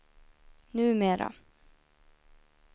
numera